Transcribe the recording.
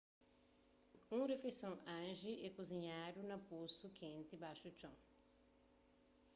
un rifeison hangi é kuzinhadu na posu kenti baxu txon